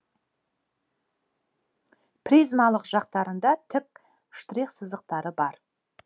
призмалық жақтарында тік штрих сызықтары бар